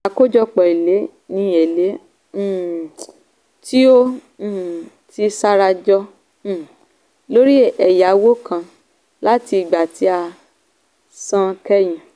àkójọpọ̀ èlé ni èlé um tí ó um ti sarajọ um lórí ẹ̀yáwó kan láti ìgbà tí a san kẹ́yìn.